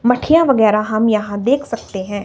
मखियां वगैराह हम यहां देख सकते हैं।